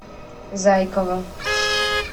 зайкова